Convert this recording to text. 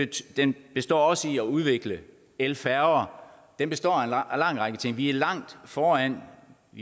den består også i at udvikle elfærger den består af en lang række ting vi er langt foran